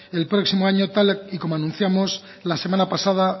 el próximo año tal y como anunciamos la semana pasada